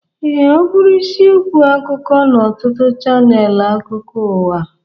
Ee, ọ bụrụ isiokwu akụkọ n'ọtụtụ chanel akụkụ ụwa.